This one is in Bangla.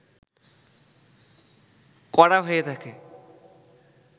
করা হয়ে থাকে